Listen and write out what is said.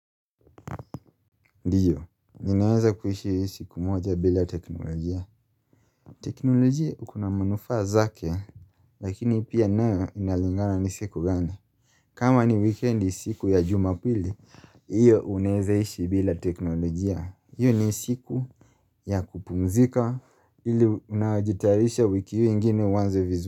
Ndiyo, ninaeza kuishi yu siku moja bila teknolojia. Teknolojia ukuna manufaa zake, lakini pia nayo inalingana ni siku gani. Kama ni wikendi siku ya jumapili, io unaezaishi bila teknolojia. Io ni siku ya kupumzika ili unajitarisha wiki io ingine uanze vizu.